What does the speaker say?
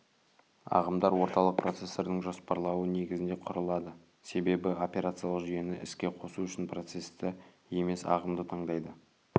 ағымдар орталық процессордың жоспарлауы негізінде құрылады себебі операциялық жүйені іске қосу үшін процесті емес ағымды таңдайды